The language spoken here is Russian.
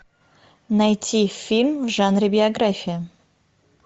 найти фильм в жанре биография